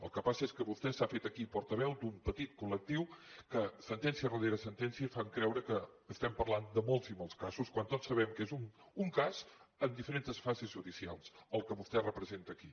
el que passa és que vostè s’ha fet aquí portaveu d’un petit col·lectiu que sentència rere sentència fan creure que parlem de molts i molts casos quan tots sabem que és un cas en diferents fases judicials el que vostè representa aquí